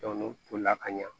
n'u tolila ka ɲa